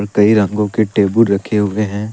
कई रंगों के टेबुल रखे हुए है।